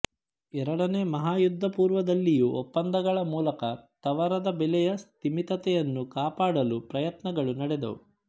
ಎರಡನೆಯ ಮಹಾಯುದ್ಧಪುರ್ವದಲ್ಲಿಯೂ ಒಪ್ಪಂದಗಳ ಮೂಲಕ ತವರದ ಬೆಲೆಯ ಸ್ತಿಮಿತತೆಯನ್ನು ಕಾಪಾಡಲು ಪರಯತ್ನಗಳು ನಡೆದುವು